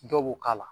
Dɔw b'u k'a la